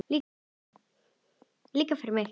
Líka fyrir mig!